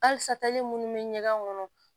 Halisali minnu bɛ ɲɛgɛn kɔnɔ